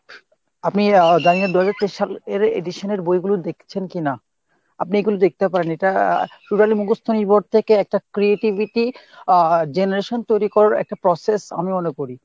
আপনি আহ জানিনা দু হাজার তেইশ সালের edition এর বইগুলো দেখছেন কিনা ? আপনি এগুলো দেখতে পারেন। এটা totally মুখস্ত নির্ভর থেকে একটা creativity আহ generation তৈরী করার একটা process আমি মনে করি।